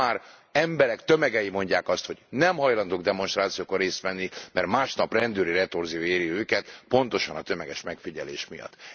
Ma már emberek tömegei mondják azt, hogy nem hajlandók demonstrációkon részt venni, mert másnap rendőri retorzió éri őket pontosan a tömeges megfigyelés miatt.